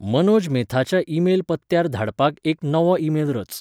मनोज मेथाच्या ईमेल पत्त्यार धाडपाक एक नवो ईमेल रच